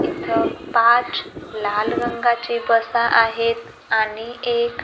इथं पाच लाल रंगाचे बसा आहेत आणि एक--